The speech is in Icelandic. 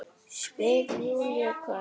spyr Júlía hvasst.